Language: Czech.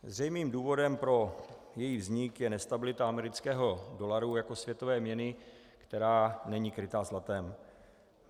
Zřejmým důvodem pro její vznik je nestabilita amerického dolaru jako světové měny, která není kryta zlatem.